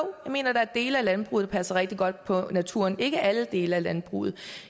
mener at der er dele af landbruget der passer rigtig godt på naturen ikke alle dele af landbruget